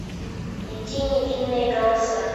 найти невинные голоса